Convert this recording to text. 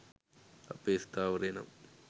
අපේ ස්ථාවරය නම්